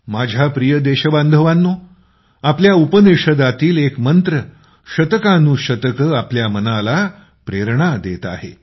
माझ्या प्रिय देशबांधवांनो आपल्या उपनिषदातील एक मंत्र शतकानुशतके आपल्या मनाला प्रेरणा देत आहे